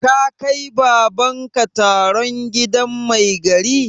Ka kai Baban ka taron gidan mai gari?